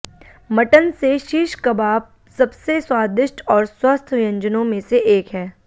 mutton से shish kebab सबसे स्वादिष्ट और स्वस्थ व्यंजनों में से एक है